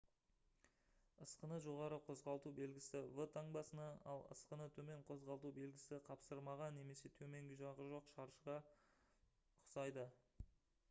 «ысқыны жоғары қозғалту» белгісі v таңбасына ал «ысқыны төмен қозғалту белгісі» қапсырмаға немесе төменгі жағы жоқ шаршыға ұқсайды